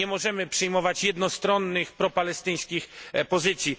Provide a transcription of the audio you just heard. Nie możemy przyjmować jednostronnych propalestyńskich pozycji.